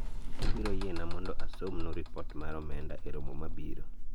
ubiro yiena mondo asomnu ripot mar omenda e romo mabiro